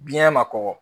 Biɲɛ ma kɔgɔ